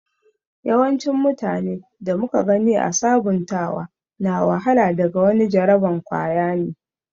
yawancin mutane da muka gani ã sabuntawa na wahala daga wani jaraban kwaya ne.